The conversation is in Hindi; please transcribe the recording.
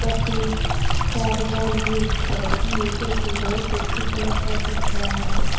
और तीन चार बॉल भी रखी हुई जो कि बहुत अच्छे कलर का दिख रहा है।